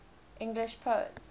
english poets